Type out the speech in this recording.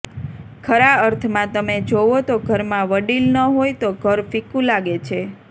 ખરા અર્થમાં તમે જોવો તો ઘરમાં વડીલ ન હોય તો ઘર ફિક્કું લાગે છે